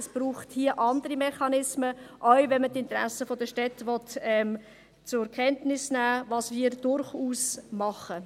Es braucht hier andere Mechanismen, selbst wenn man die Interessen der Städte zur Kenntnis nimmt, was wir durchaus machen.